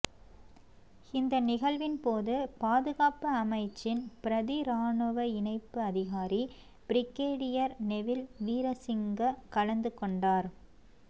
இந்த நிகழ்வின் போது பாதுகாப்பு அமைச்சின் பிரதி இராணுவ இணைப்பு அதிகாரி பிரிகேடியர் நெவில் வீரசிங்க கலந்துகொண்டார்